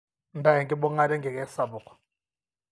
nta enkibungata enkike sapuk